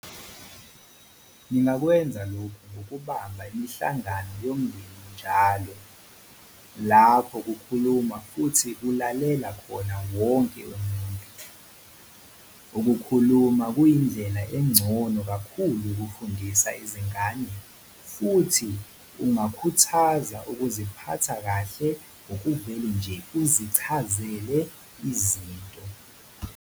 Ningakwenza lokhu ngokubamba imihlangano yomndeni njalo, lapho kukhuluma futhi kulalela khona wonke umuntu. Ukukhuluma kuyindlela engcono kakhulu yokufundisa izingane futhi ungakhuthaza ukuziphatha kahle ngokuvele nje uzichazele izinto.